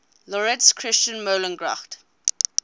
laurits christian meulengracht